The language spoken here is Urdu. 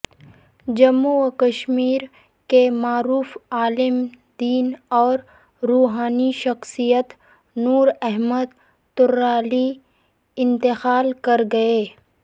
جموںکشمیر کے معروف عالم دین اور روحانی شخصیت نور احمد ترالی انتقال کر گئے